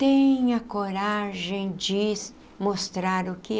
Tenha coragem de mostrar o que é.